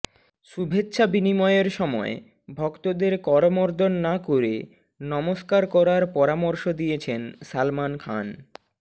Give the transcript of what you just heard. শুভেচ্ছা বিনিময়ের সময় ভক্তদের করমর্দন না করে নমস্কার করার পরামর্শ দিয়েছেন সালমান খান